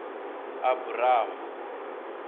abramu